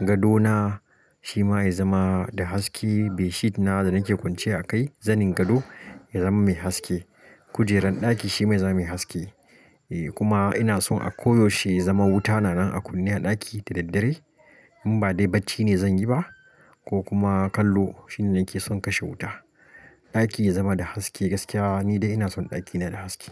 gadona shima yazama da haske, bedsheet na da nake kwanciya a kai zanin gado yazama mai haske, kujeran ɗaki shima yazama mai haske. Eh kuma ina son a koyaushe yazama wuta tana a kunne a ɗaki dadaddare in ba dai bacci ne zanyi ba ko kuma kallo shine nake son kashe wuta. Ɗaki yazama da haske gaskiya nidai ina son ɗakina da haske.